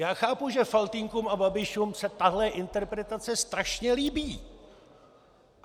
Já chápu, že Faltýnkům a Babišům se tahle interpretace strašně líbí.